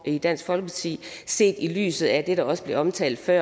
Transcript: i dansk folkeparti set i lyset af det der også blev omtalt før